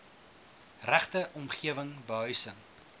regte omgewing behuising